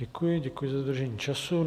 Děkuji, děkuji za dodržení času.